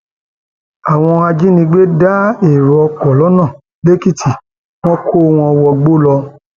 àwọn ajínigbé da èrò ọkọ lọnà lèkìtì wọn kó wọn wọgbó lọ